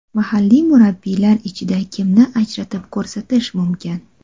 Mahalliy murabbiylar ichida kimni ajratib ko‘rsatish mumkin?